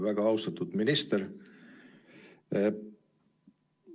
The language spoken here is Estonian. Väga austatud minister!